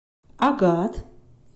агат